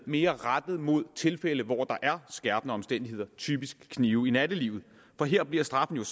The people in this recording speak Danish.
mere rettet mod tilfælde hvor der er skærpende omstændigheder typisk kniv i nattelivet for her bliver straffene